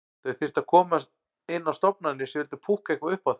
Þau þyrftu að komast inn á stofnanir sem vildu púkka eitthvað upp á þau.